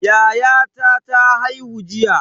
Yayata ta haihu jiya.